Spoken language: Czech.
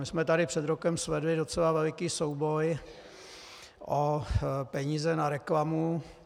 My jsme tady před rokem svedli docela veliký souboj o peníze na reklamu.